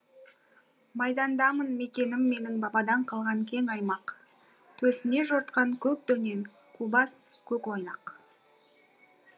майдандамын мекенім менің бабадан қалған кең аймақ төсіне жортқан көк дөнен қубас көк ойнақ